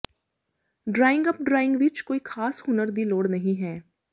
drawing up drawing ਵਿੱਚ ਕੋਈ ਖਾਸ ਹੁਨਰ ਦੀ ਲੋੜ ਨਹੀ ਹੈ